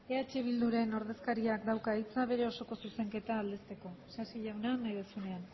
eh bilduren ordezkariak dauka hitza bere osoko zuzenketa aurkezteko isasi jauna nahi duzunean